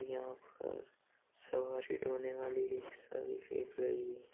यहाँ पर सवारी वाली रिक्शा भी रही--